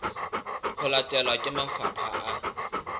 ho latelwa ke mafapha a